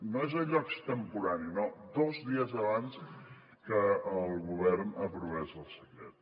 no és allò extemporani no dos dies abans que el govern aprovés el decret